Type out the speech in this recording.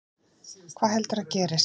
Hvað heldurðu að gerist?